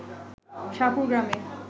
শাহপুর গ্রামে